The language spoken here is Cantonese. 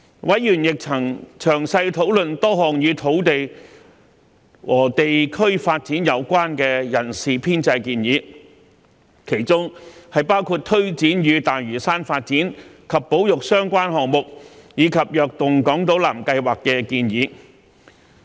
委員亦曾詳細討論多項與土地和地區發展有關的人事編制建議，包括為推展與大嶼山發展及保育相關的項目，以及"躍動港島南"計劃而提出的建議。